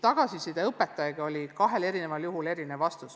Tagasiside õpetajatelt oli mõlemal juhul erinev.